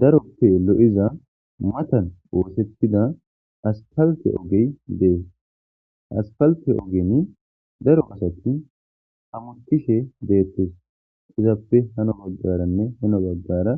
daroppe lo7iza matan woosettida astalte ogey dees aspalte ogeni daro asati hamuntishe deettes izaappe hano baggaranne hano baggara